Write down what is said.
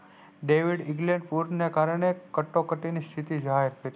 David વિગલેટ કોડ ના કારને કટોકટી ની સ્થિતિ જાહેર થી